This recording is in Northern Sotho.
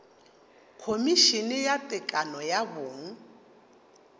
khomišene ya tekano ya bong